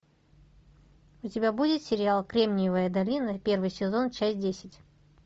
у тебя будет сериал кремниевая долина первый сезон часть десять